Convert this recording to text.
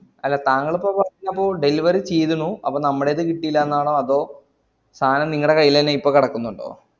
അല്ല താങ്കളിപ്പോ പറഞ്ഞപ്പോ delivery ചെയ്തിനു അപ്പൊ നമ്മുടേത് കിട്ടീലാന്നാണോ അതോ സാനം നിങ്ങളെ കയ്യിലെന്നെ ഇപ്പോ കടക്കുന്നുണ്ടോ